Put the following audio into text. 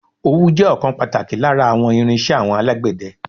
Ówú jẹ́ ọ̀kan pàtàkì lára àwọn irín-iṣẹ́ àwọn alágbẹ̀dẹ.